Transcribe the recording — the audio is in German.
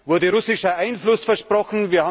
Wurde russischer Einfluss versprochen?